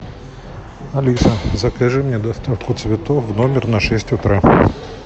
алиса закажи мне доставку цветов в номер на шесть утра